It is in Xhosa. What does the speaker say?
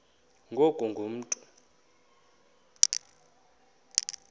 ngoku ungu mntu